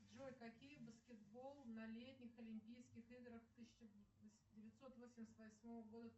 джой какие баскетбол на летних олимпийских играх тысяча девятьсот восемьдесят восьмого года